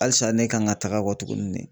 Halisa ne kan ka taga kɔtuguni de.